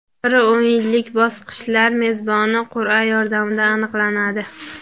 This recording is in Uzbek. Bir o‘yinlik bosqichlar mezboni qur’a yordamida aniqlanadi.